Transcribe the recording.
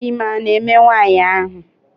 Ime a na-eme nwaanyị ahụ?